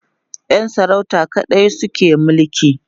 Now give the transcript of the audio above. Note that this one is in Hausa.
Yan sarauta kaɗai suke mulki